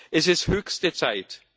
Es ist höchste Zeit.